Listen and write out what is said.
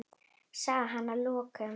sagði hann að lokum.